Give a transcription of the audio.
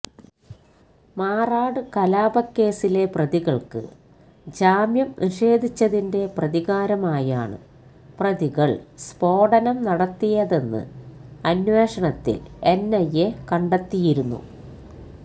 മാറാട് കലാപക്കേസിലെ പ്രതികൾക്ക് ജാമ്യം നിഷേധിച്ചതിന്റെ പ്രതികാരമായാണ് പ്രതികൾ സ്ഫോടനം നടത്തിയതെന്ന് അന്വഷണത്തിൽ എൻഐഎ കണ്ടെത്തിയിരുന്നു